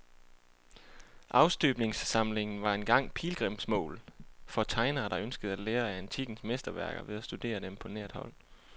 Afstøbningssamlingen var engang pilgrimsmål for tegnere, der ønskede at lære af antikkens mesterværker ved at studere dem på nært hold.